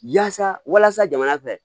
Yaasa walasa jamana fɛ